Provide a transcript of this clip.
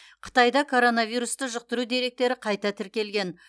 қытайда коронавирусты жұқтыру деректері қайта тіркелген